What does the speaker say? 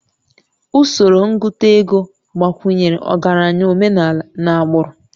Usoro ngụta ego gbakwunyere ọgaranya omenala n'agbụrụ